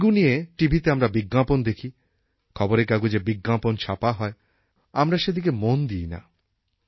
dengue নিয়ে টিভিতে আমরা বিজ্ঞাপন দেখি খবরের কাগজে বিজ্ঞাপন ছাপা হয় কিন্তু আমরা সেদিকে মন দিই না